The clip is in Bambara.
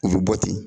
U bɛ bɔ ten